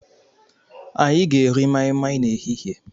Anyị ga-eri mai mai n'ehihie.